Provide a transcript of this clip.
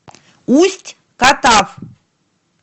усть катав